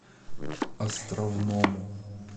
островному